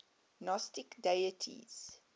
gnostic deities